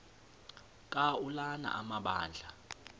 ka ulana amabandla